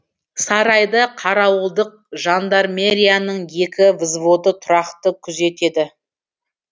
сарайды қарауылдық жандармерияның екі взводы тұрақты күзетеді